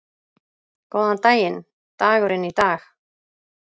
Góðan daginn dagurinn í dag